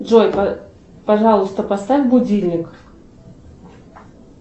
джой пожалуйста поставь будильник